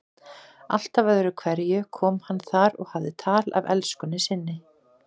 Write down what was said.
Alltaf öðru hverju kom hann þar og hafði tal af elskunni sinni.